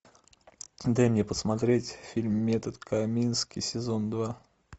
дай мне посмотреть фильм метод комински сезон два